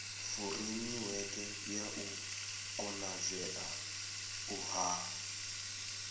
furemiweke ya u konadzea ha